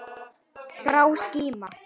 Grá skíma.